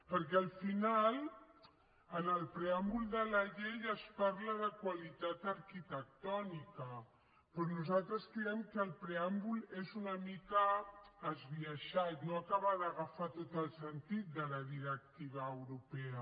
perquè al final en el preàmbul de la llei es parla de qualitat arquitectònica però nosaltres creiem que el preàmbul és una mica esbiaixat no acaba d’agafar tot el sentit de la directiva europea